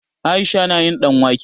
Aisha na yin ɗanwake.